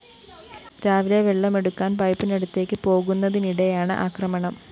രാവിലെ വെള്ളമെടുക്കാന്‍ പൈപ്പിനടുത്തേക്ക് പോകുന്നതിനിടെയാണ് ആക്രമണം